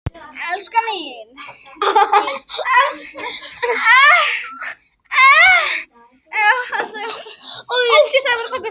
Saman í eftirliti einsog í Selinu.